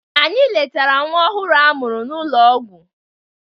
Anyị letara nwa ọhụrụ a mụrụ n'ụlọ ọgwụ